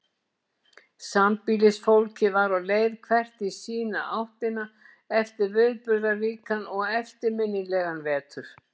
Sambýlisfólkið var á leið hvert í sína áttina eftir viðburðaríkan og eftirminnilegan vetur.